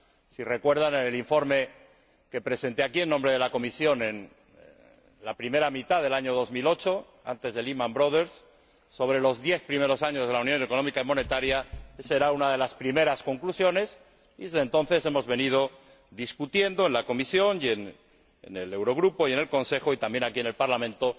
Si recuerdan, en el informe que presenté aquí en nombre de la Comisión en la primera mitad del año 2008, antes del Lehman Brothers sobre los diez primeros años de la Unión Económica y Monetaria, esa era una de las primeras conclusiones y, desde entonces, hemos debatido en la Comisión, en el Eurogrupo y en el Consejo y también aquí, en el Parlamento,